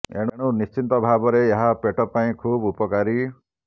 ଏଣୁ ନିଶ୍ଚିତ ଭାବରେ ଏହା ପେଟ ପାଇଁ ଖୁବ୍ ଉପକାରୀ